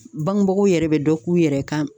Bangebagaw yɛrɛ be dɔ k'u yɛrɛ kan